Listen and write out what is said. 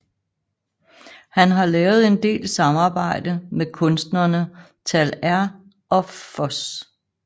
Han har lavet en del samarbejde med kunstnerne Tal R og Fos